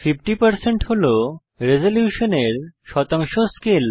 50 হল রেজল্যুশনের শতাংশ স্কেল